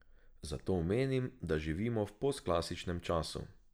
Zato menim, da živimo v postklasičnem času.